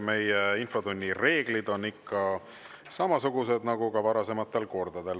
Meie infotunni reeglid on ikka samasugused nagu ka varasematel kordadel.